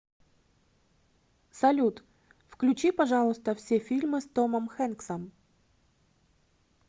салют включи пожалуйста все фильмы с томом хэнксом